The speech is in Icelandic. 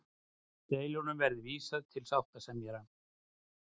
Deilum verði vísað til sáttasemjara